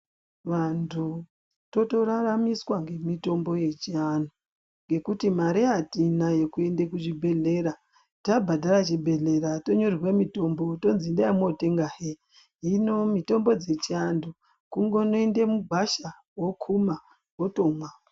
Vantu totoraramiswa nemitombo yechianhu ngekuti mare atina yekuende kuzvibhehlera. Tabhadhare chibhehlera tonyorerwa mitombo tonzi endai motenga hee. Hino mitombo dzechiantu kungo noende mugwasha, wokuma wotomwa.